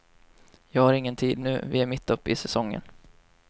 Jag har ingen tid nu, vi är mitt upp i säsongen.